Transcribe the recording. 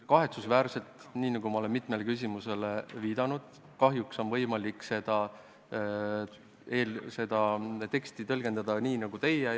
Kahetsusväärselt, nii nagu ma mitmele küsimusele vastates olen juba öelnud, on seda teksti võimalik tõlgendada ka nii, nagu teie seda teete.